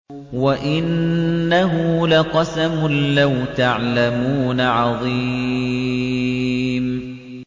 وَإِنَّهُ لَقَسَمٌ لَّوْ تَعْلَمُونَ عَظِيمٌ